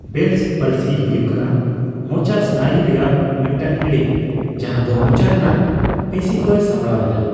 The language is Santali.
ᱵᱮᱞᱥ ᱯᱟᱞᱥᱤ ᱦᱩᱭᱩᱜ ᱠᱟᱱᱟ ᱢᱚᱪᱟ ᱥᱱᱟᱭᱩ ᱨᱮᱭᱟᱜ ᱢᱤᱫᱴᱟᱝ ᱦᱤᱬᱤᱡ, ᱡᱟᱦᱟ ᱫᱚ ᱢᱚᱪᱟ ᱨᱮᱱᱟᱜ ᱯᱮᱥᱤᱠᱚᱭ ᱥᱟᱢᱵᱲᱟᱣ ᱮᱫᱟ ᱾